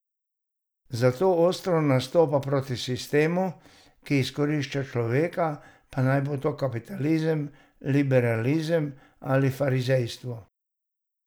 Zato ostro nastopa proti sistemu, ki izkorišča človeka, pa naj bo to kapitalizem, liberalizem ali farizejstvo.